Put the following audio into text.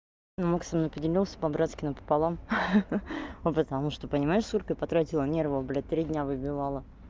ну максим ну поделился по-братски напополам ха-ха ну потому что понимаешь сколько я потратила нервов блядь три дня выбивала